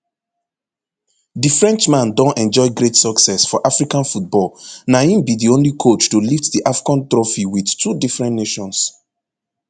di frenchman don enjoy great success for african football na im be di only coach to lift di afcon trophy wit two different nations